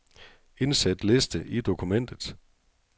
Indsæt liste i dokumentet.